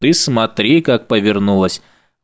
ты смотри как повернулось